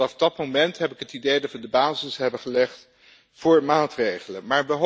Vanaf dat moment heb ik het idee dat we de basis hebben gelegd voor maatregelen.